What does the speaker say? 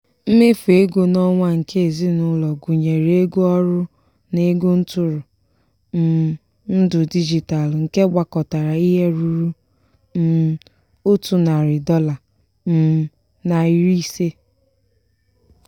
mmefu ego n'onwa nke ezinụlọ gụnyere ego ọrụ na ego ntụrụ um ndụ digitalu nke gbakọtara ihe rụrụ um otu narị dọla um na iri ise..